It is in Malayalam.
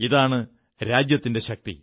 ഇതാണ് രാജ്യത്തിന്റെ ശക്തി